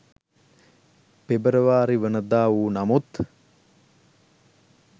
පෙබරවාරිවනදා වූ නමුත්